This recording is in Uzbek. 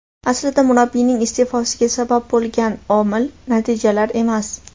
Aslida murabbiyning iste’fosiga sabab bo‘lgan omil natijalar emas.